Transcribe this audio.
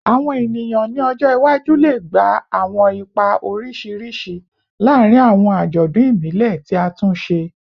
Awọn eniyan ni ọjọ iwaju le gba awọn ipa oriṣiriṣi laarin awọn ajọdun ibile ti a tun ṣe